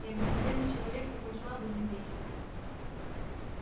и обыкновенный человек такой слабый медлительный